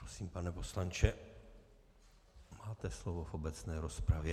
Prosím, pane poslanče, máte slovo v obecné rozpravě.